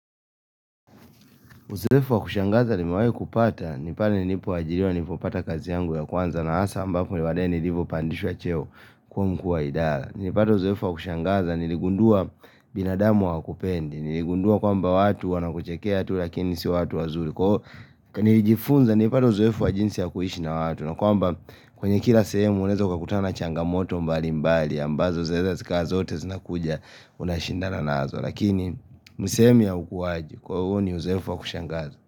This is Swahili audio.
Uzoefu wa kushangaza nimewahi kupata ni pale nilipo ajiriwa nilinipo pata kazi yangu ya kwanza na hasa ambapo ni madai nilipo pandishwa cheo kuwa mkuu wa idara Nilipata uzoefu wa kushangaza niligundua binadamu hawakupendi niligundua kwamba watu wanakuchekea tu lakini sio watu wazuri Nilifunza nilipata uzoefu wa jinsi ya kuishi na watu na kwamba kwenye kila sehemu unaweza ukakutana na changamoto mbali mbali ambazo zaweza zikawa zote zinakuja unashindana nazo Lakini misemi ya ukuwaji kwa huo ni uzoefu wa kushangaza.